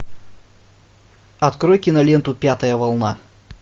открой киноленту пятая волна